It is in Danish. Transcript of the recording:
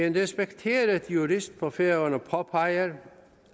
en respekteret jurist på færøerne påpeger